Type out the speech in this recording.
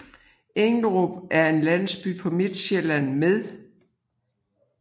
Englerup er en landsby på Midtsjælland med